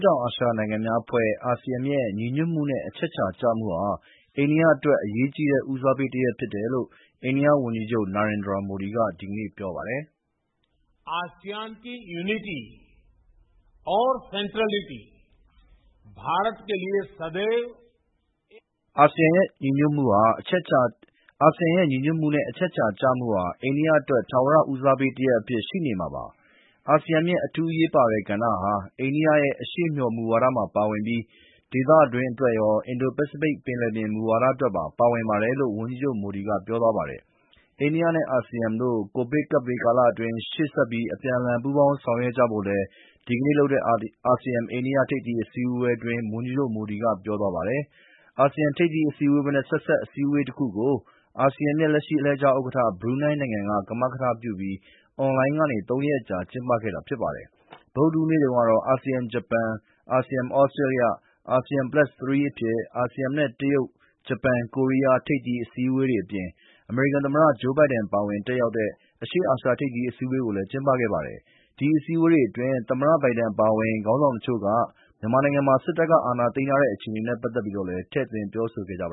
တောင်အာရှနိုင်ငံများအဖွဲ့ (ASEAN) ရဲ့ ညီညွတ်မှုနဲ့အချက်အချာကျမှုဟာ အိန္ဒိယအတွက် အရေးကြီးတဲ့ ဦးစားပေးတရပ်ဖြစ်တယ်လို့ အိန္ဒိယဝန်ကြီးချုပ် Narendra Modi က ဒီကနေ့ပြောပါတယ်။ “အာဆီယံရဲ့ ညီညွတ်မှုနဲ့အချက်အချာကျမှုဟာ အိန္ဒိယအတွက် ထာဝရဦးစားပေးတရပ်အဖြစ်ရှိနေမှာပါ။ အာဆီယံရဲ့ အထူးအရေးပါတဲ့ကဏ္ဍဟာ အိန္ဒိယရဲ့ အရှေ့မျှော်မူဝါဒမှာပါဝင်ပြီး ဒေသတွင်းအတွက်ရော၊ အင်ဒို-ပစိဖိတ် ပင်လယ်ပြင်မူဝါဒအတွက်ပါ ပါဝင်ပါတယ်”လို့ ဝန်ကြီးချုပ် Modi ကပြောပါတယ်။ အိန္ဒိယနဲ့ အာဆီယံတို့ COVID-19 ကပ်ဘေးကာလအတွင်း ရှေ့ဆက် အပြန်အလှန်ပူးပေါင်းဆောင်ရွက်ကြဖို့လည်း ဒီကနေ့လုပ်တဲ့ အာဆီယံ-အိန္ဒိယ ထိပ်သီးအစည်းအဝေးအတွင်း ဝန်ကြီးချုပ် Modi က ပြောသွားပါတယ်။ အာဆီယံထိပ်သီးအစည်းအဝေးနဲ့ ဆက်စပ် ထိပ်သီးအစည်းအဝေးတခုကို အာဆီယံရဲ့ လက်ရှိ အလှည့်ကျဥက္ကဋ္ဌ ဘရူနိုင်းနိုင်ငံက ကမကထပြုပြီး အွန်လိုင်းကနေ သုံးရက်ကြာ ကျင်းပခဲ့တာဖြစ်ပါတယ်။ ဗုဒ္ဓဟူးနေ့တုန်းကတော့ အာဆီယံ-ဂျပန်၊ အာဆီယံ-သြစတြေးလျ၊ အာဆီယံ + ၃ အဖြစ် အာဆီယံနဲ့ တရုတ်၊ ဂျပန်၊ ကိုရီးယား ထိပ်သီးအစည်းအဝေးတွေအပြင် အမေရိကန်သမ္မတ Joe Biden ပါဝင်တက်ရောက်တဲ့ အရှေ့အာရှ ထိပ်သီးအစည်းအဝေးတွေကို ကျင်းပခဲ့ပါတယ်။ ဒီအစည်းအဝေးတွေအတွင်း သမ္မတဘိုင်ဒန်အပါအဝင် ခေါင်းဆောင်တချို့က မြန်မာနိုင်ငံမှာ စစ်တပ်က အာဏာသိမ်းထားတဲ့ အခြေအနေနဲ့ပတ်သက်ပြီးတော့လည်း ထည့်သွင်းပြောဆိုခဲ့ကြပ